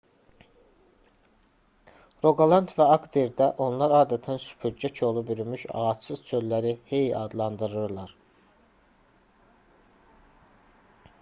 roqaland və aqderdə onlar adətən süpürgə kolu bürümüş ağacsız çölləri hei adlandırırlar